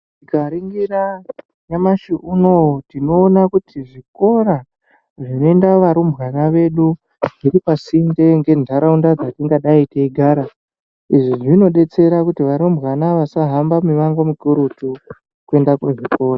Tikaringira nyamashi uno uyu tinoona kuti zvikora zvinoenda varumbwana edu zviripasinde ngentaraunda dzatingadai tichigara. Izvi zvinodetsere kuti arumbwana asahambe mimango mikurutu kuenda kuzvikora.